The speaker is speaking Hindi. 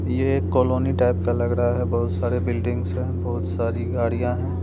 ये कॉलोनी टाइप का लग रहा है बहुत सारे बिल्डिंग्स हैं बहुत सारी गाड़ियां हैं।